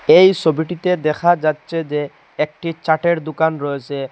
এই সবিটিতে দেখা যাচ্ছে যে একটি চাটের দোকান রয়েসে।